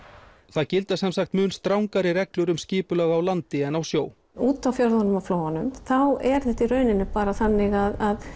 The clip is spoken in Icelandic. það gilda sem sagt mun strangari reglur um skipulag á landi en á sjó úti á fjörðunum og þá er þetta í rauninni bara þannig að